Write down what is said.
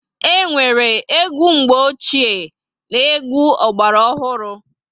E nwere egwu mgbe ochie na egwu ogbara ohuru